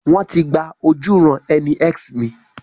Wọ́n ti gba ojúuran-ẹni X mi.